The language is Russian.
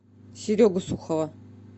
серегу сухова